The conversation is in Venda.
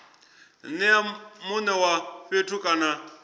nea mune wa fhethu kana